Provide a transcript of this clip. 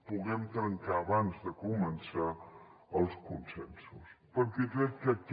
puguem trencar abans de començar els consensos perquè crec que aquest